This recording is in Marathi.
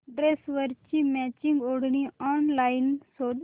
ड्रेसवरची मॅचिंग ओढणी ऑनलाइन शोध